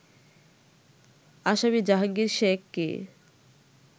আসামি জাহাঙ্গীর শেখকে